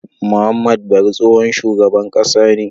Muhammad bari tsohon shugaban ƙasa ne